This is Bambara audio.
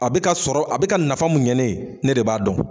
A bɛ ka sɔrɔ, a bɛ ka nafa mun ɲɛ ne ye, ne de b'a dɔn.